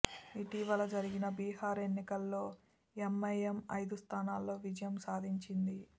ఇటీవల జరిగిన బిహార్ ఎన్నికల్లో ఎంఐఎం ఐదు స్థానాల్లో విజయం సాధించింది